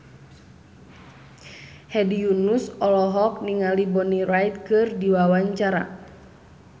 Hedi Yunus olohok ningali Bonnie Wright keur diwawancara